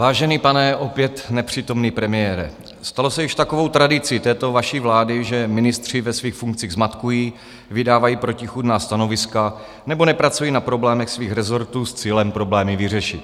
Vážený pane opět nepřítomný premiére, stalo se již takovou tradicí této vaší vlády, že ministři ve svých funkcích zmatkují, vydávají protichůdná stanoviska nebo nepracují na problémech svých rezortů s cílem problémy vyřešit.